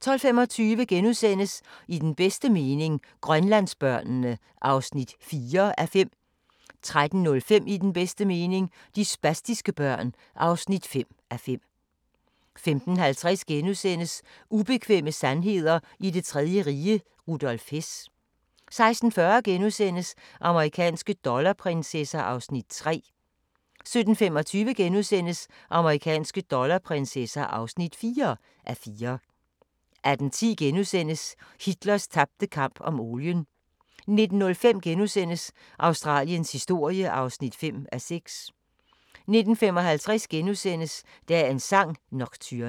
12:25: I den bedste mening – Grønlandsbørnene (4:5)* 13:05: I den bedste mening - de spastiske børn (5:5) 15:50: Ubekvemme sandheder i det tredje rige - Rudolf Hess * 16:40: Amerikanske dollarprinsesser (3:4)* 17:25: Amerikanske dollarprinsesser (4:4)* 18:10: Hitlers tabte kamp om olien * 19:05: Australiens historie (5:6)* 19:55: Dagens sang: Nocturne *